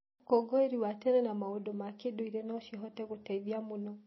ũkũngũĩri wa tene na maũndũ ma kĩndũire no cihote gũteithia mũno.